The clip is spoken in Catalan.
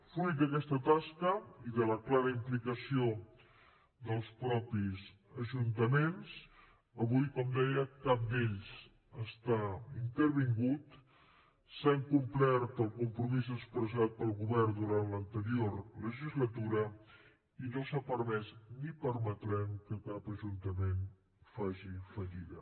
fruit d’aquesta tasca i de la clara implicació dels mateixos ajuntaments avui com deia cap d’ells està intervingut s’ha complert el compromís expressat pel govern durant l’anterior legislatura i no s’ha permès ni permetrem que cap ajuntament faci fallida